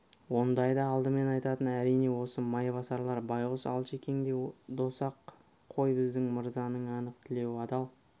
ондайды алдымен айтатын әрине осы майбасарлар байғұс алшекең де дос-ақ қой біздің мырзаның анық тілеуі адал